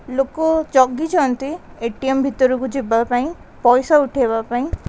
ଲୋକ ଜଗିଛନ୍ତି A T M ଭିତରକୁ ଯିବାପାଇଁ ପଇସା ଉଠେଇବା ପାଇଁ --